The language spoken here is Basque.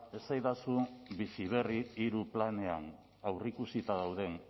esaidazu bizi berri hirugarren planean aurreikusita dauden